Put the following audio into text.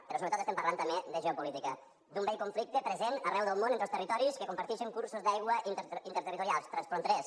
però sobretot parlem també de geopolítica d’un vell conflicte present arreu del món entre els territoris que compartixen cursos d’aigua interterritorials transfronterers